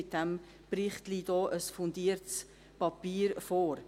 Mit diesem Bericht liegt ein fundiertes Papier vor.